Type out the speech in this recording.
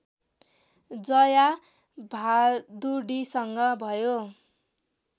जया भादुडीसँग भयो